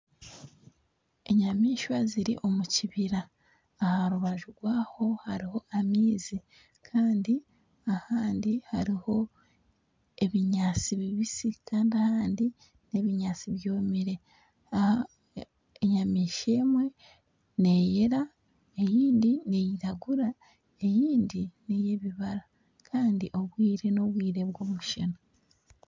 Enyamaishwa ziri omu kibira aha rubaju rwaho hariho amaizi kandi ahandi hariho ebinyatsi bibisi kandi ahandi nk'ebinyatsi byomire enyamaishwa emwe neeyera endiijo neyiragura ,endiijo neyebibara Kandi obwire nobwire bw'omushana